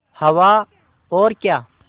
हवा और क्या